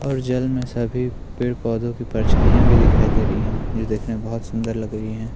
और जल में सभी पेड़ पोधों की परछाइयाँ भी दिखाई दे रही हैं यह देखना में बहुत सुंदर लग रही है।